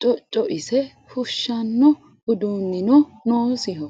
cocoise fushano udunino noosiho.